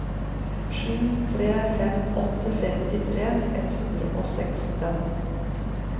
sju tre fem åtte femtitre ett hundre og seksten